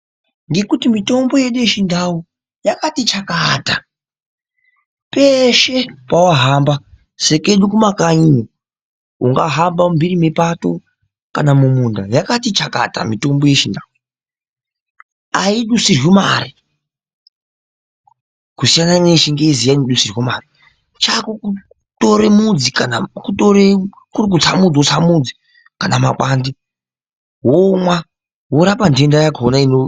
Ngekuti mitombo yedu yechindau yakati chakata peshe pawahamba sekedu kumakanyiyo ungahamba mumphiri mepato kana mumunda yakati chakata mitombo yechindau. Aidusirwi mari kusiyana neyechingezi iya inodusirwa mari. Chako kutore mudzi kana kuri kutsa mudzi wotora mudzi kana mapande womwa worapa ntenda yakona ino..